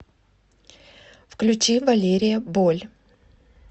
включи валерия боль